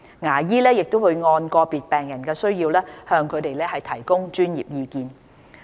牙醫也會按個別病人的需要向他們提供專業意見。